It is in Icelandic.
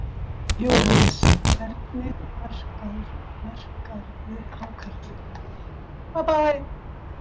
Jóhannes: Hvernig verkarðu hákarlinn?